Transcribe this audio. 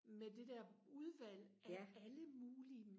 med det der udvalg af alle mulige